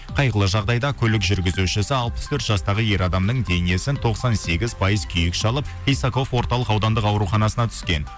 қайғылы жағдайда көлік жүргізушісі алпыс төрт жастағы ер адамның денесін тоқсан сегіз пайыз күйік шалып исаков орталық аудандық ауруханасына түскен